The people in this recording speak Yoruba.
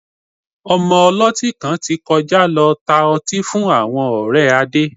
Ọmọ ọlọ́tí kan ti kọjá lọ tá ọtí fún àwọn ọ̀rẹ́ Adé